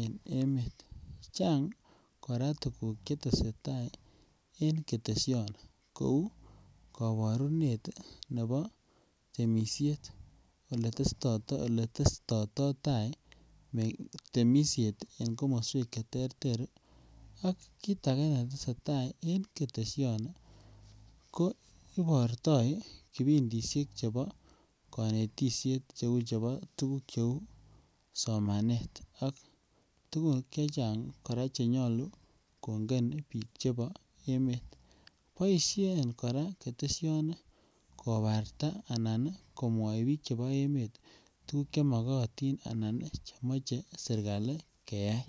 en emet. Chang Koraa tukuk chetesetai en Keteshoni kou koborunet nebo temishet iletesto oletestoito tai mengi temishet en komoswek cheterter ak kit age netesetai en Keteshoni ko iborto kipindishek chebo konetishek cheu chebo tukuk cheu somanet ak tukuk chechang Koraa chenyolu konget bik chebo emet. Boishen Koraa Keteshoni kobarta anan komwoi bik chebo emet tukuk chemokotin anan che moche serkali keyai.